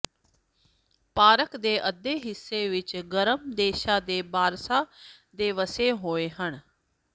park ਦੇ ਅੱਧੇ ਹਿੱਸੇ ਵਿੱਚ ਗਰਮ ਦੇਸ਼ਾਂ ਦੇ ਬਾਰਸ਼ਾਂ ਦੇ ਵਸੇ ਹੋਏ ਹਨ